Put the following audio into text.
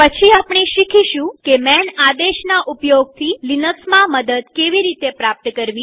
પછી આપણે શીખીશું કે માન આદેશના ઉપયોગથી લિનક્સમાં મદદ કેવી રીતે પ્રાપ્ત કરવી